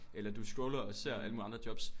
Eller du scroller og ser alle mulige andre jobs